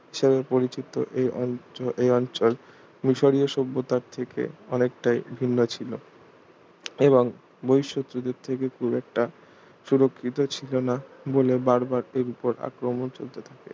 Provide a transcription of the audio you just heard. হিসেবে পরিচিত এই অঞ্চল এই অঞ্চল মিশিয় সভ্যতার থেকে অনেকটাই ভিন্ন ছিল এবং বহিঃশত্রুদের থেকে খুব একটা সুরক্ষিত ছিল না বলে বার বার এর ওপর আক্রমন চলতে থাকে